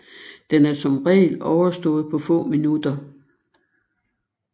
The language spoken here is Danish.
Den er som regel overstået på få minutter